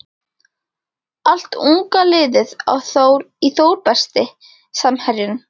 Allt unga liðið í Þór Besti samherjinn?